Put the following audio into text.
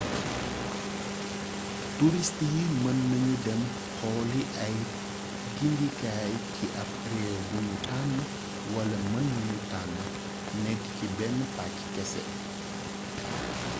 turist yi mën nañu dem xooli ay gindikaay ci ap réew buñu tànn wala men nanu tànn nekk ci benn pàcc kese